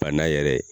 Bana yɛrɛ